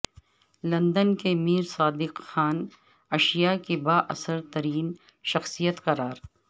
London کے mayor Sadiq Khan Asia کی با اثر ترین شخصیت قرار